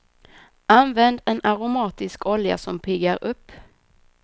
Använd en aromatisk olja som piggar upp.